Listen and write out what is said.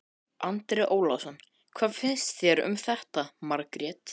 En hver hefur unnið fótboltaleik á pappírunum fyrir leik?